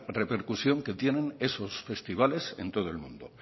repercusión que tienen esos festivales en todo el mundo